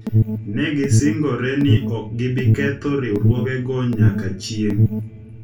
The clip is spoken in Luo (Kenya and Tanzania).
ne gisingore ni ok gibi ketho riwruogego nyaka chieng’.